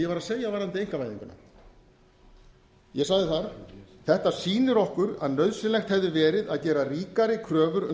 var að segja varðandi einkavæðinguna ég sagði þar þetta sýnir okkur að nauðsynlegt hefði verið að gera ríkari kröfur um